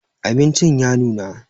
Abincin ya nuna